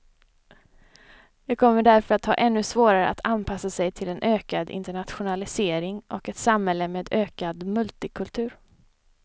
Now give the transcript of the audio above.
De kommer därför att ha ännu svårare att anpassa sig till en ökad internationalisering och ett samhälle med ökad multikultur.